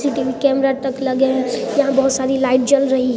CCTV camera तक लगे हैं यहाँ बहुत सारी लाइट जल रही है।